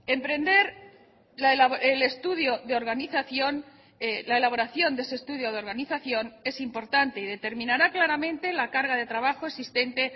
emprender el estudio de organización la elaboración de ese estudio de organización es importante y determinará claramente la carga de trabajo existente